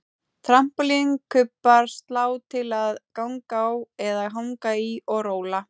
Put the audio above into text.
Trampólín, kubbar, slá til að ganga á eða hanga í og róla